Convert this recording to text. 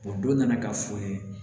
O don nana ka fɔ n ye